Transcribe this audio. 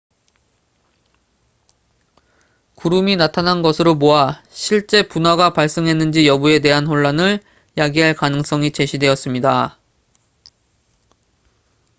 구름이 나타난 것으로 보아 실제 분화가 발생했는지 여부에 대한 혼란을 야기할 가능성이 제시되었습니다